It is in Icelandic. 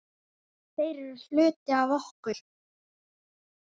Þeir eru hluti af okkur.